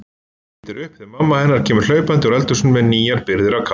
Lítur upp þegar mamma hennar kemur hlaupandi úr eldhúsinu með nýjar birgðir af kaffi.